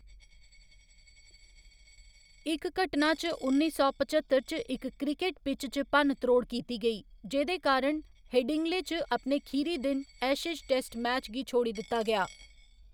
इक घटना च उन्नी सौ पचत्तर च इक क्रिकेट पिच च भन्न त्रोड़ कीती गेई, जेह्‌दे कारण हेडिंग्ले च अपने खीरी दिन एशेज टेस्ट मैच गी छोड़ी दित्ता गेआ।